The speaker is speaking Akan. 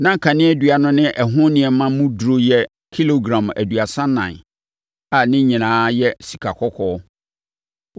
Na kaneadua no ne ɛho nneɛma mu duru yɛ kilogram aduasa ɛnan a ne nyinaa yɛ sikakɔkɔɔ.